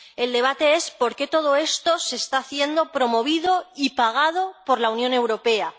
El debate es por qué todo esto se está haciendo, promovido y pagado por la Unión Europea.